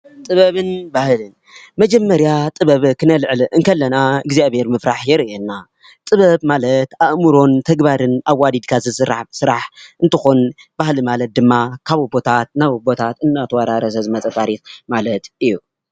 ጥበብን ባህልን፡- መጀመርያ ጥበብ ክነልዕል ከለና እግዚኣብሄር ምፍራሕ የርእየና፡፡ ጥበብን ማለት ኣእምሮን ተግባርን ኣዋዲድካ ዝስራሕ ስራሕ እንትከውን ባህሊ ማለት ድማ ካብ ኣቦታት ናብ ኣቦታት እንዳተወራረሰ ዝመፀ ታሪክ ማለት እዩ፡፡